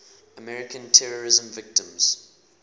american terrorism victims